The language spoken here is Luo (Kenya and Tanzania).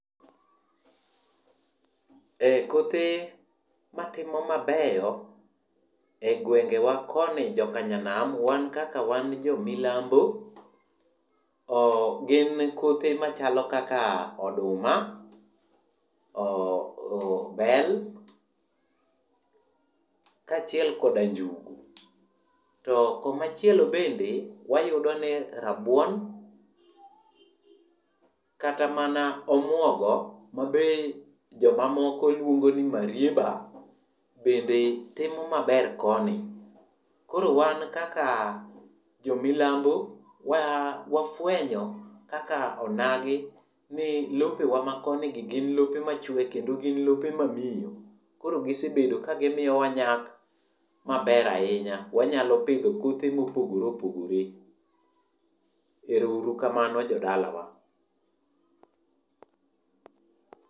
Kothe matimo mabeyo e gwengewa koni jokanyanam wan kaka wan jomilambo gin kothe machalo kaka oduma, bel kaachiel koda njugu. To komachielo bende wayudo ni rabuon kata mana omuogo mabe jomamoko lwongo ni marieba be timo maber koni. Koro wan kaka jomilambo wafwenyo kaka onagi ni, lopewa makonigi gin lope machwe kendo en lope mamiyo. Koro gisebedo ka gimiyowa nyak maber ahinya. Wanyalo pidho kothe mopogore opogore. Ero uru kamano jodalawa.